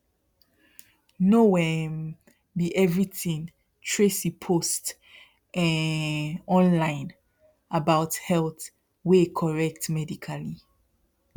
no um be everything tracy post um online about health wey correct medically